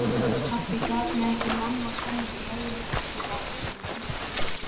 Pabbi gat mig, mamma kom mér í heiminn, og síðan ekki söguna meir.